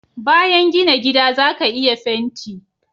bayan gina gida zaka iya fenti